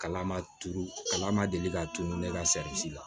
Kalan ma turu kalan ma deli ka tunu ne ka la